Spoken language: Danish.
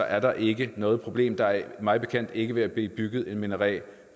er der ikke noget problem der er mig bekendt ikke ved at blive bygget en minaret